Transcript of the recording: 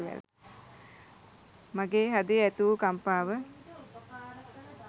මගේ හදේ ඇතිවූ කම්පාව